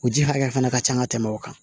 O ji hakɛya fana ka ca ka tɛmɛ o kan